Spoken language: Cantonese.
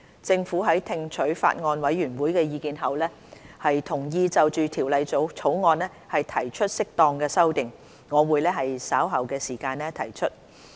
政府在聽取法案委員會的意見後，同意就《條例草案》提出適當的修訂，我會於稍後時間提出。